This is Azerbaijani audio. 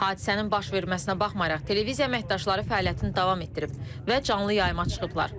Hadisənin baş verməsinə baxmayaraq, televiziya əməkdaşları fəaliyyətini davam etdirib və canlı yayıma çıxıblar.